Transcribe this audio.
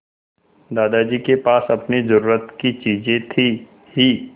दादाजी के पास अपनी ज़रूरत की चीजें थी हीं